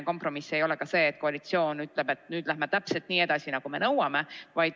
Kompromiss ei ole ka see, et koalitsioon ütleb, et nüüd läheme täpselt nii edasi, nagu me nõuame.